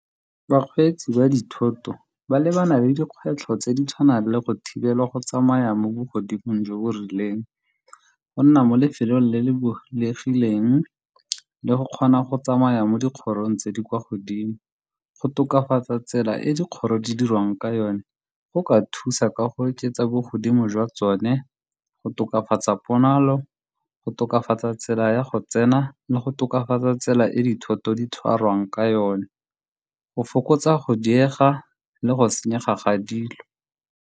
Bakgweetsi ba dithoto ba lebana le dikgwetlho tse di tshwanang le go thibela go tsamaya mo bogodimong jo bo rileng, go nna mo lefelong le le bulegileng le go kgona go tsamaya mo dikgorong tse di kwa godimo. Go tokafatsa tsela e dikgoro di dirwang ka yone go ka thusa ka go oketsa bogodimo jwa tsone, go tokafatsa ponalo, go tokafatsa tsela ya go tsena le go tokafatsa tsela e dithoto di tshwarwang ka yone, go fokotsa go diega le go senyega ga dilo.